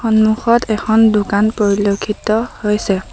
সন্মুখত এখন দোকান পৰিলক্ষিত হৈছে।